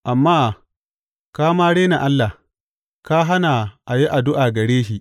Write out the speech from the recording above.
Amma ka ma rena Allah ka hana a yi addu’a gare shi.